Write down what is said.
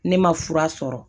Ne ma fura sɔrɔ